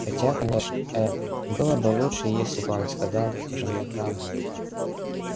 хотя конечно э-э было бы лучше если бы он сказал жене правду